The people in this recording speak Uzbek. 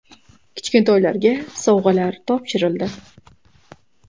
Kichkintoylarga sovg‘alar topshirildi.